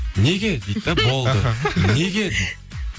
неге дейді де болды неге дейді